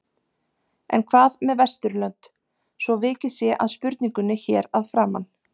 En hvað með Vesturlönd svo vikið sé að spurningunni hér að framan?